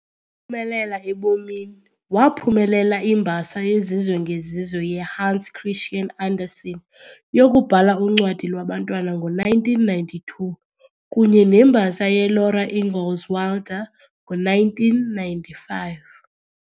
phumelela ebomini, waphumelela iMbasa yezizwe ngezizwe yeHans Christian Andersen yokubhala uncwadi lwabantwana ngo-1992 kunye neMbasa yeLaura Ingalls Wilder ngo-1995